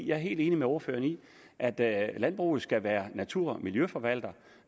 jeg er helt enig med ordføreren i at at landbruget skal være natur og miljøforvalter